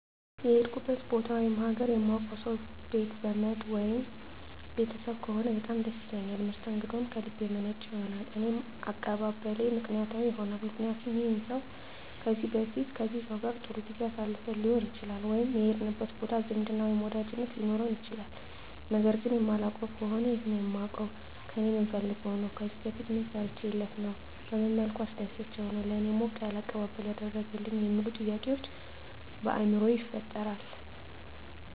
የሄድኩበት ቦታ ወይም ሀገር የማውቀው ሰው ቤት ዘመድ ወይም ቤተሰብ ከሆነ በጣም ደስ ይለኛል መስተንግደውም ከልብ የመነጨ ይሆናል እኔም አቀባበሌ ምክንያታዊ ይሆናልምክንያቱም ይህን ሰው ከዚህ በፊት ከዚህ ሰው ጋር ጥሩ ጊዜ አሳልፈን ሊሆን ይችላል ወይም የሄድንበት ቦታ ዝምድና ወይም ወዳጅነት ሊኖረን ይችላል ነገር ግን የማላውቀው ከሆነ የት ነው የማውቀው ከእኔ ምን ፈልጎ ነው ከዚህ በፊት ምን ሰርቸለት ነው በመን መልኩ አስደስቸው ነው ለእኔ ሞቅ ያለ አቀባበል ያደረገልኝ የሚሉ ጥያቄዎች በአይምሮየ ይፈጠራል